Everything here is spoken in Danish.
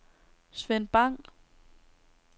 Svend Bang